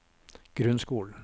grunnskolen